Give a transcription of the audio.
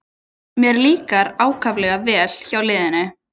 Mér líkar ákaflega vel hjá liðinu